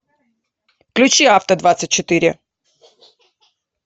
включи авто двадцать четыре